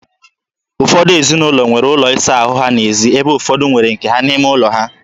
Ụfọdụ ezinụlọ nwere ụlọ ịsa ahụ ha n'ezi ebe ụfọdụ nwere nke ha n'ime ụlọ ha.